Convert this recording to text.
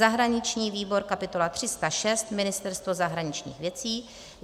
zahraniční výbor kapitola 306 - Ministerstvo zahraničních věcí;